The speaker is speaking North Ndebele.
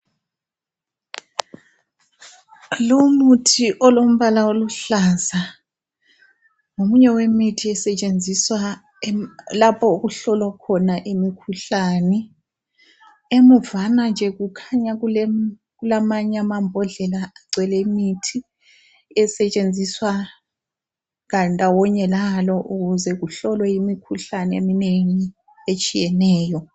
Lumuthi olombala oluhlaza ngomunye wemithi esetshenziswa lapho okuhlolwa khona imikhuhlane. Emuvana nje kukhanya kulamanye amambodlela agcwele imithi esetshenziswa ndawonye lalo ukuze kuhlolwe imikhuhlane eminengi etshiyeneyo.